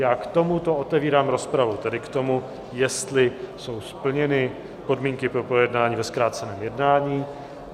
Já k tomuto otevírám rozpravu, tedy k tomu, jestli jsou splněny podmínky pro projednání ve zkráceném jednání.